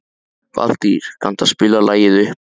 Valtýr, kanntu að spila lagið „Uppboð“?